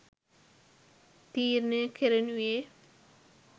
තීරණය කෙරෙනුයේ